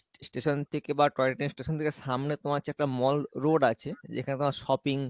station থেকে বা toy train station থেকে সামনে তোমার হচ্ছে একটা mall road আছে যেখানে তোমার sopping